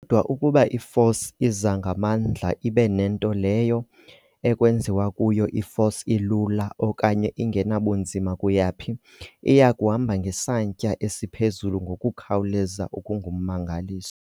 Kodwa ukuba i-force iza ngamandla ibe nento leyo kwenziwa kuyo i-force ilula okanye ingenabunzima kuyaphi, iyakuhamba ngesantya esiphezulu ngokukhawuleza okungummangaliso.